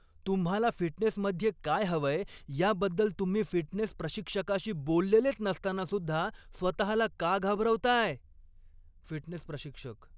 तुम्हाला फिटनेसमध्ये काय हवंय याबद्दल तुम्ही फिटनेस प्रशिक्षकाशी बोललेलेच नसताना सुद्धा स्वतःला का घाबरवताय? फिटनेस प्रशिक्षक